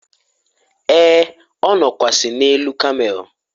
e, ọ nọkwasi n'elu kamel